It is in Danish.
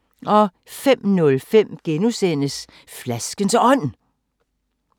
05:05: Flaskens Ånd (G)